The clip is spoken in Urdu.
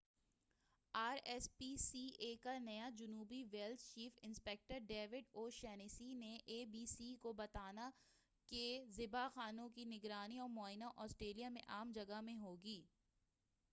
are S P C A کا نیا جنوبی Wales chief inspector David O'Shaughnessy نے اے بی سی کو بتانا کہ ذبح خانوں کی نگرانی اور معائنہ آسٹریلیا میں عام جگہ میں ہوگی